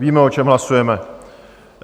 Víme, o čem hlasujeme.